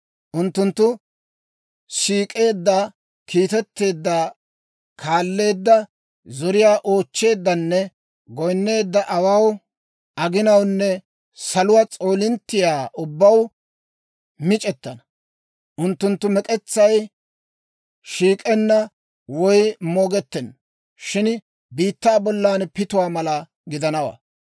Unttunttu siik'eedda, kiitetteedda, kaalleedda, zoriyaa oochcheeddanne goyinneedda awaw, aginawunne saluwaa s'oolinttiyaa ubbaw mic'ettana. Unttunttu mek'etsay shiik'enna woy moogettenna; shin biittaa bollan pituwaa mala gidanawaa.